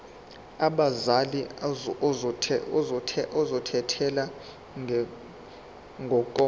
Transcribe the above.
abazali ozothathele ngokomthetho